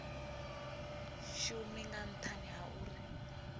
shumi nga nthani ha uri